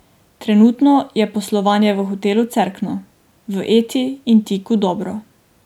Trenutno je poslovanje v Hotelu Cerkno, v Eti in Tiku dobro.